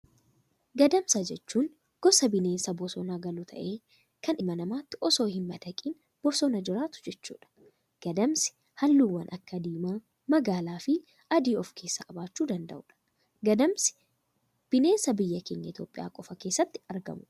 Gadamsa jechuun gosa bineensa bosona galuu ta'ee, kan ilma namaatti osoo hin madaqne, bosona jiraatu jechuudha. Gadamsi halluuwwan akka diimaa, magaalaa fi adii of keessaa qabaachuu danda'udha. Gadamsi bineensa biyya keenya Itoophiyaa qofa keessatti argamudha.